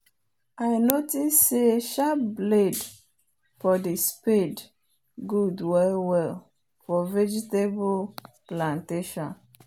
i notice say sharp blade for the spade good well well for vegetable plantation